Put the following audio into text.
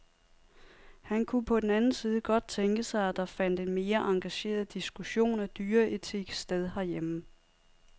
Han kunne på den anden side godt tænke sig, at der fandt en mere engageret diskussion af dyreetik sted herhjemme.